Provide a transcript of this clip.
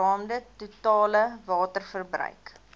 geraamde totale waterverbruik